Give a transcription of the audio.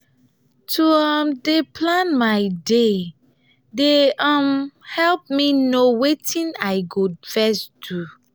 to um dey plan my day dey um help me know wetin i go ?] first do.